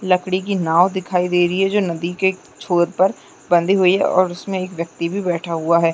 लकड़ी की नॉव दिखाई दे रही है जो नदी के छोर पर बंधी हुई है और उसमें एक व्यक्ति भी बैठा हुआ हैं।